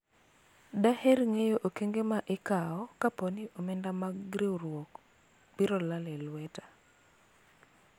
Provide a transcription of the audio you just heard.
daher ng'eyo okengo ma ikawo kapo ni omenda mag riwruok biro lal e lweta